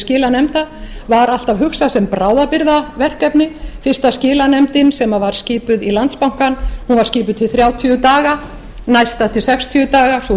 skilanefnd var alltaf hugsað sem bráðabirgðaverkefni fyrsta skilanefndin sem var skipuð í landsbankann var skipuð til þrjátíu daga næsta til sextíu dags sú